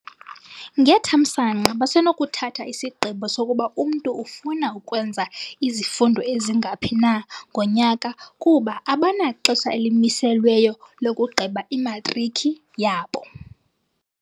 "Ngethamsanqa, basenokuthatha isigqibo sokuba umntu ufuna ukwenza izifundo ezingaphi na ngonyaka kuba abanaxesha elimiselweyo lokugqiba imatriki yabo."